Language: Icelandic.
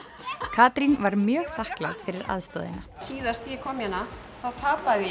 Katrín var mjög þakklát fyrir aðstoðina síðast þegar ég kom hérna tapaði